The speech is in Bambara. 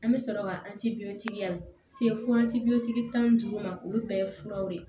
An bɛ sɔrɔ ka fo tan ni duuru ma olu bɛɛ ye furaw de ye